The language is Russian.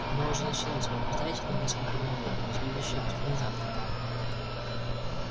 оно уже началось вы опоздали на несколько минут но следующее турне завтра